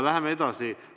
Läheme edasi.